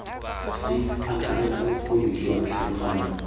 se akaretsa bokgoni jwa tlhaloganyo